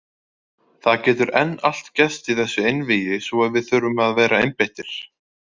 Það getur enn allt gerst í þessu einvígi svo við þurfum að vera einbeittir.